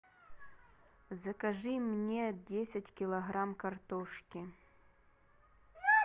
закажи мне десять килограмм картошки